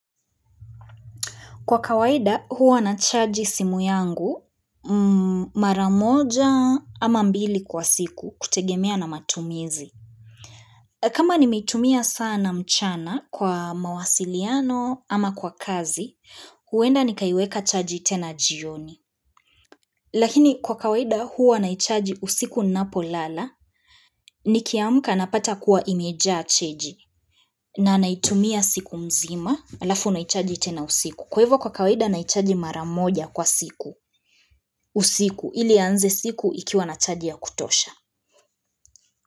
Kwa kawaida huwa nachaji simu yangu mara moja ama mbili kwa siku kutegemea na matumizi. Kama nimeitumia sana mchana kwa mawasiliano ama kwa kazi, huenda nikaiweka chaji tena jioni. Lakini kwa kawaida huwa naichaji usiku ninapolala, nikiamka napata kuwa imejaa chaji na naitumia siku mzima halafu naichaji tena usiku. Kwa hivyo kwa kawaida naichaji mara moja kwa siku usiku, ili ianze siku ikiwa na chaji ya kutosha.